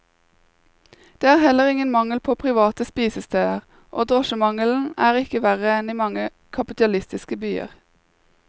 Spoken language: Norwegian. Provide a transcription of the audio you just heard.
Det er heller ingen mangel på private spisesteder, og drosjemangelen er ikke verre enn i mange kapitalistiske byer.